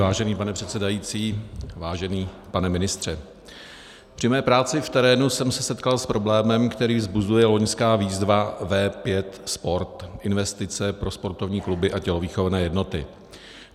Vážený pane předsedající, vážený pane ministře, při své práci v terénu jsem se setkal s problémem, který vzbuzuje loňská výzva V5 Sport, investice pro sportovní kluby a tělovýchovné jednoty.